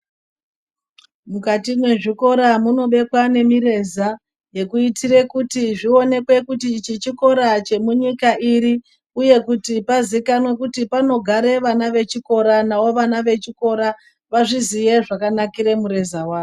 Mukati mwezvikora munobekwa nemireza yekuitire kuti zvionekwe kuti ichi chikora chemunyika iri uye kuti pazikanwe kuti panogare vana vechikora, navo vana vechikora vazviziye zvakanakire mureza wawo.